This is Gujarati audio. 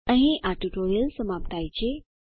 અહીં આ ટ્યુટોરીયલ સમાપ્ત થાય છે